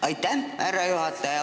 Aitäh, härra juhataja!